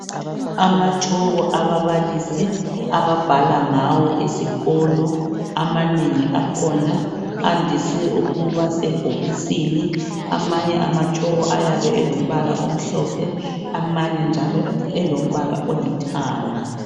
Amatshoko ababalisi ababhala ngawo esikholo amanengi akhona andisi ukuba sebhokisini amanye amachoko ayabe elombala omhlophe amanye njalo elombala olithanga